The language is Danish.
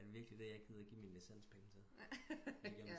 Er det virkelig det jeg gider give mine licenspenge til